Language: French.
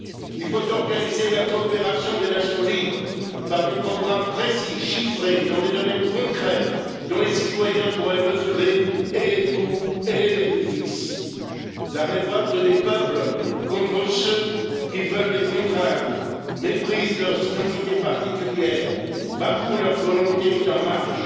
Il faut organiser la coopération des nations libres par des programmes précis, chiffrés, dans des domaines concrets dont les citoyens pourraient mesurer et les coûts et les bénéfices. La révolte des peuples contre ceux qui veulent les contraindre, méprisent leurs identités particulières, bafouent leur volonté, est en marche.